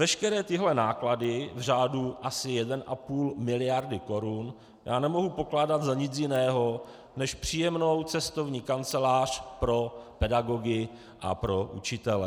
Veškeré tyhle náklady v řádu asi 1,5 miliardy korun nemohu pokládat za nic jiného, než příjemnou cestovní kancelář pro pedagogy a pro učitele.